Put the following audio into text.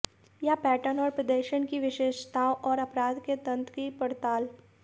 यह पैटर्न और प्रदर्शन की विशेषताओं और अपराध के तंत्र की पड़ताल